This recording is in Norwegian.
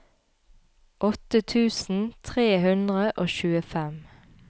åtte tusen tre hundre og tjuefem